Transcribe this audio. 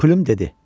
Plüm dedi: